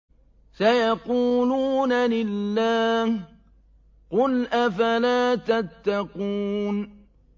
سَيَقُولُونَ لِلَّهِ ۚ قُلْ أَفَلَا تَتَّقُونَ